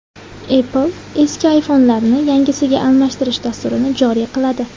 Apple eski iPhone’larni yangisiga almashtirish dasturini joriy qiladi.